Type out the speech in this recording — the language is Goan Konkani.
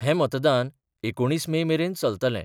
हे मतदान एकुणीस मे मेरेन चलतलें.